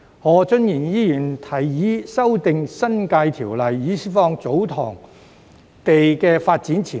何俊賢議員提議修訂《新界條例》，以釋放祖堂地的發展潛力。